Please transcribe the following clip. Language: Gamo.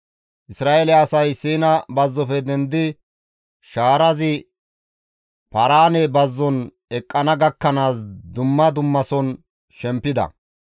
Isra7eele asay Siina bazzofe dendidi shaarazi Paaraane bazzon eqqana gakkanaas dumma dummason shempida.